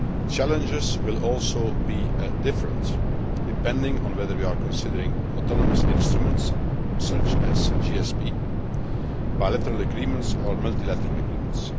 Challenges will also be different, depending on whether we are considering autonomous instruments such as GSP, bilateral agreements or multilateral agreements.